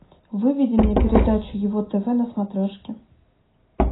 выведи мне передачу его тв на смотрешке